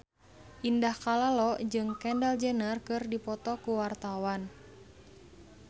Indah Kalalo jeung Kendall Jenner keur dipoto ku wartawan